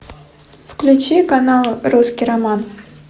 включи канал русский роман